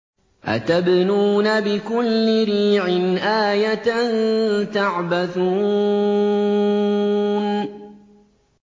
أَتَبْنُونَ بِكُلِّ رِيعٍ آيَةً تَعْبَثُونَ